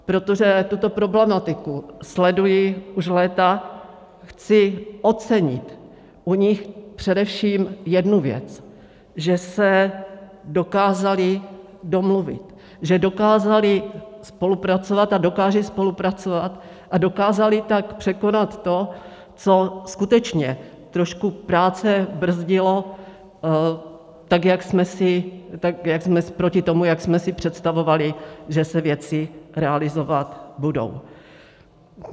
Protože tuto problematiku sleduji už léta, chci ocenit u nich především jednu věc, že se dokázali domluvit, že dokázali spolupracovat a dokážou spolupracovat, a dokázali tak překonat to, co skutečně trošku práce brzdilo proti tomu, jak jsme si představovali, že se věci realizovat budou.